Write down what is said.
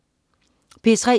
P3: